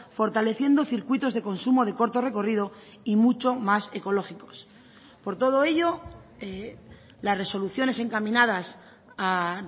fortaleciendo circuitos de consumo de corto recorrido y mucho más ecológicos por todo ello las resoluciones encaminadas a